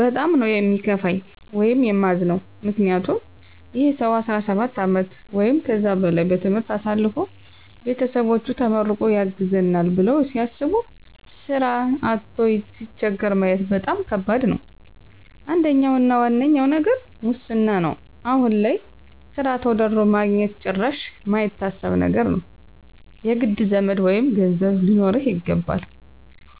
በጣም ነው ሚከፋኝ ወይም ማዝነው ምክንያቱም ይህ ሰው 17 አመት ወይም ከዛ በላይ በትምህርት አሳልፎ ቤተሰቦቹ ተመርቆ ያግዘናል ብለው ሲያስቡ ስራ አቶ ሲቸገር ማየት በጣም ከባድ ነው። አንደኛው እና ዋነኛው ነገር ሙስና ነው አሁን ላይ ስራ ተወዳድሮ ማግኜት ጭራሽ ማይታሰብ ነገር ነው። የግድ ዘመድ ወይም ገንዘብ ሊኖርህ ይገባል